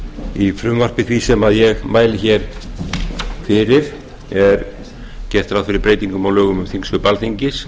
í frumvarpi því sem ég mæli hér fyrir er gert ráð fyrir breytingum á lögum um þingsköp alþingis